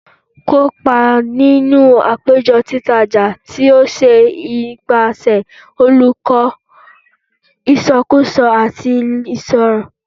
Kopa ninu apejọ Titaja ti o ṣe nipasẹ Oluko Iṣakoso ati Iṣiro